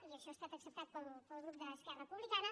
i això ha estat acceptat pel grup d’esquerra republicana